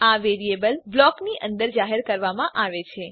આ વેરીએબલ બ્લોકની અંદર જાહેર કરવામાં આવે છે